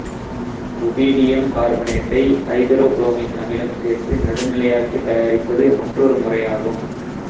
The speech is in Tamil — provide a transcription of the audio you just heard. ருபீடியம் கார்பனேட்டை ஐதரோ புரோமிக் அமிலம் சேர்த்து நடுநிலையாக்கித் தயாரிப்பது மற்றொரு முறையாகும